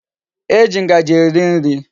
E ji Ngaji eri nri